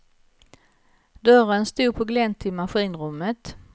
Dörren satod på glänt till maskinrummet.